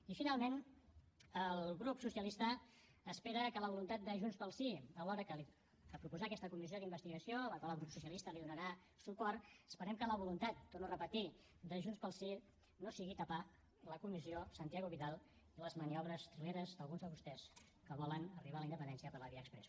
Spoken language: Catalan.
i finalment el grup socialista espera que la voluntat de junts pel sí a l’hora de proposar aquesta comissió d’investigació a la qual el grup socialista donarà suport esperem que la voluntat ho torno a repetir de junts pel sí no sigui tapar la comissió santiago vidal i les maniobres trileres d’alguns de vostès que volen arribar a la independència per la via exprés